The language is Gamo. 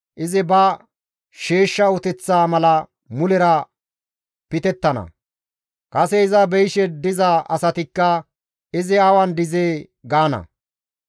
izi ba sheeshsha uteththa mala mulera pitettana; kase iza beyishe diza asatikka, ‹Izi awan dizee gaanee?›